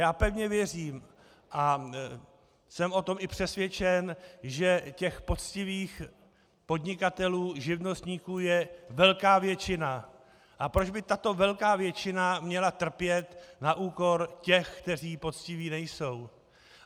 Já pevně věřím a jsem o tom i přesvědčen, že těch poctivých podnikatelů, živnostníků je velká většina, a proč by tato velká většina měla trpět na úkor těch, kteří poctiví nejsou?